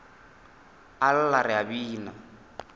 a lla re a bina